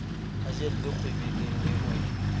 a jelle kgwebeleng le ho